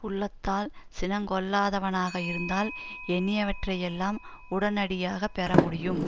உள்ளத்தால் சினங்கொள்ளாதவனாக இருந்தால் எண்ணியவற்றையெல்லாம் உடனடியாக பெற முடியும்